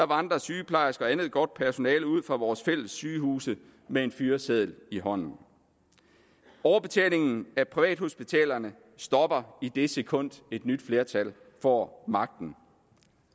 vandrer sygeplejersker og andet godt personale ud fra vores fælles sygehuse med en fyreseddel i hånden overbetalingen af privathospitalerne stopper i det sekund et nyt flertal får magten